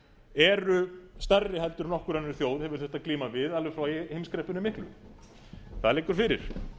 eru stærri heldur en nokkur önnur þjóð hefur þurft að glíma við alveg frá heimskreppunni miklu það liggur fyrir